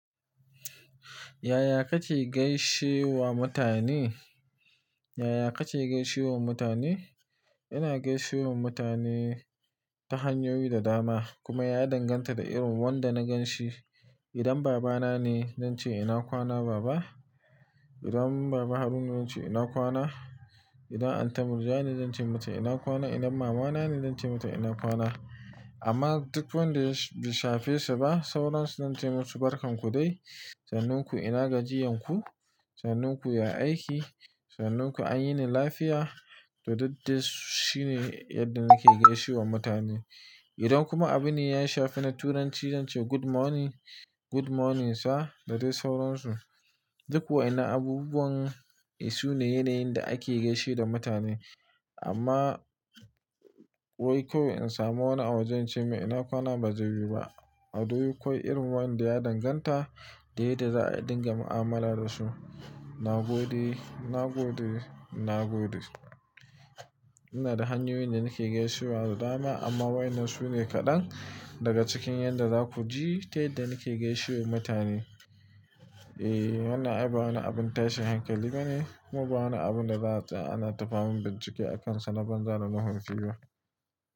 Yaya kake gaishe wa mutane? Yaya kake gaishe wa mutane? Ina gaishe wa mutane ta hanyoyi da dama kuma ya danganta da irin wanda na gan shi. Idan baba na ne, zan ce ina kwana baba. Idan baba Haruna ne, zan ce ina kwana. Idan Anti Murja ne, zan ce mata ina kwana. Idan mama na ne, zan ce mata ina kwana. Amma duk wanda bai shafe sa ba, sauran su zan ce masu barkan ku dai. Sannun ku ina gajiyanku. Sanin ku ya aiki. Sannun ku an yini lafiya, to duk dai shine yadda muke gaishe wa mutane. Idan kuma abune ya shafi na Turanci, zan ce good morning, good morning sir da dai sauransu. Duk waƴannan abunuwan sune yanayin da ake gaishe da mutane. Amma wai koyaushe in samu wani a waje in ce mai ina kwana ba zai yiwu ba. A dai kwai irin waƴanda ya danganta da yadda za'ai dinga mu'amala da su. Na gode, na gode, na gode. Ina da hanyoyin da nake gaishe wa da dama amma waƴannan su ne kaɗan daga cikin yadda za ku ji ta yadda nake gaishe wa mutane. E, wannan ai ba wani abun tashin hankali bane kuma ba wani abun da za a tsaya ana ta famun bincike a kansa na banza da nuhunci ba.